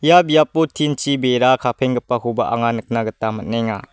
ia biapo tin-chi bera kapenggipakoba anga nikna gita man·enga.